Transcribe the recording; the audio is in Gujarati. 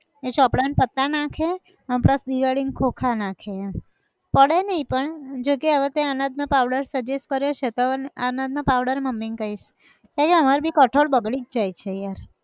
એ ચોપડાં ના પત્તાં નાખે, અન plus દિવાળી ના ખોખા નાખે એમ, પડે નઈ પણ જોકે હવે તેં અનાજ નો powder suggest કર્યો છે તો હવે અનાજ નો powder મમ્મી ન કહીશ, તૈં અમાર બી કઠોળ બગડી જ જાય છે યાર